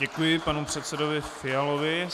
Děkuji panu předsedovi Fialovi.